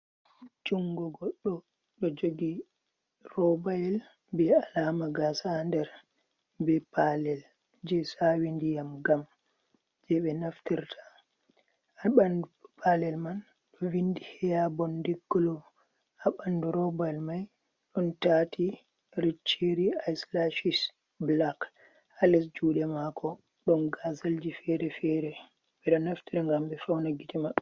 Jungo goɗɗo ɗo jogi robyel ɓe alama gasa nder be palel je sawi nɗiyam ngam je ɓe naftirta ha bandu palel man ɗo vindi heyabondeglo abandu robail mai don tati recheri iselashish blak ha les jude mako don gazalji ferefere bedo naftita ngam be fauna gite maɓɓe.